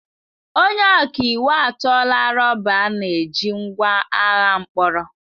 Onye ọka iwu atụọla rọba a na-eji ngwa agha mkpọrọ.